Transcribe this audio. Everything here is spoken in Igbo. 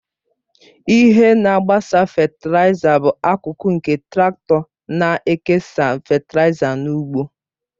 Ihe na-agbasa fetịlaịza bụ akụkụ nke traktọ na-ekesa fetịlaịza n'ugbo